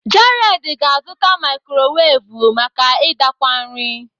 Jared ga-azụta mikrowevu maka idakwa nri.